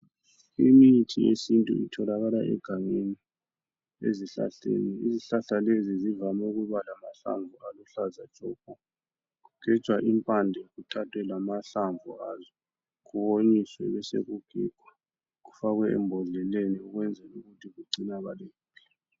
Imithi yesintu itholakala egangeni ezihlahleni. Izihlahla lezi zivame ukuba lamahlamvu aluhlaza tshoko. Kugejwa impande kuthathwe lamahlamvu azo kuwonyiswe besekugigwa kufakwe embodleleni ukwenzela ukuthi kugcinakale kuhle.